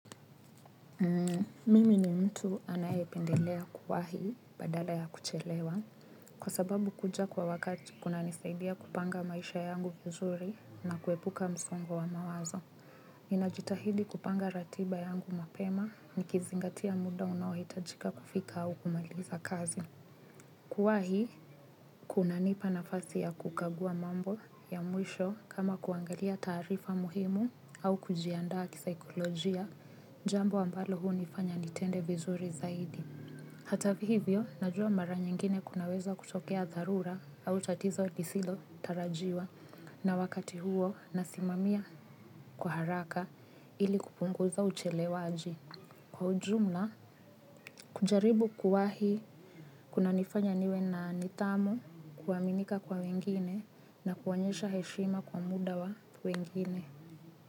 Mimi ni mtu anayependelea kuwahi badala ya kuchelewa kwa sababu kuja kwa wakati kunanisaidia kupanga maisha yangu vizuri na kuepuka msongo wa mawazo. Ninajitahidi kupanga ratiba yangu mapema nikizingatia muda unaohitajika kufika au kumaliza kazi. Kuwahi, kunanipa nafasi ya kukagua mambo ya mwisho kama kuangalia taarifa muhimu au kujiandaa kisaikolojia, jambo ambalo hunifanya nitende vizuri zaidi. Hata hivyo, najua mara nyingine kunaweza kutokea dharura au tatizo lisilo tarajiwa na wakati huo nasimamia kwa haraka ili kupunguza uchelewaji. Kwa ujumla, kujaribu kuwahi kunanifanya niwe na nidhamu kuaminika kwa wengine na kuonyesha heshima kwa muda wa wengine.